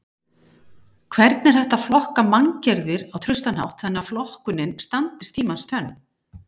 Hvernig er hægt að flokka manngerðir á traustan hátt þannig að flokkunin standist tímans tönn?